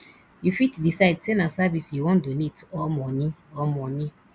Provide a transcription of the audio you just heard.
you fit decide sey na service you wan donate or money or money